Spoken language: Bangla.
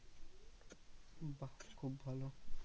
খুব ভালো